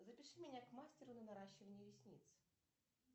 запиши меня к мастеру на наращивание ресниц